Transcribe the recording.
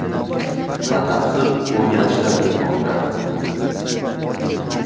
Batafsil o‘rganishlar ketmoqda.